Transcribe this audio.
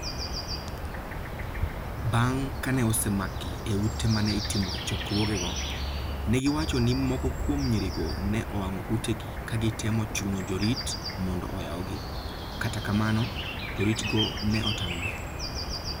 Bang ' kane osemakgi e ute ma ne itimoe chokruogego, ne giwacho ni moko kuom nyirigo ne owang'o utegi ka gitemo chuno jorit mondo oyawgi, kata kamano, joritgo ne otamore.